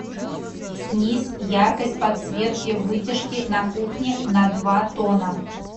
снизь яркость подсветки вытяжки на кухне на два тона